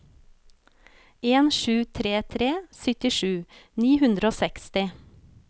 en sju tre tre syttisju ni hundre og seksti